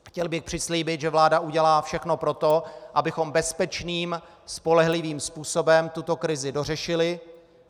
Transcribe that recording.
Chtěl bych přislíbit, že vláda udělá všechno pro to, abychom bezpečným spolehlivým způsobem tuto krizi dořešili.